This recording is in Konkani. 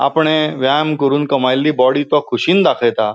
आपणे व्यायाम करून कमाइली बॉडी तो खुशीन दाखयता.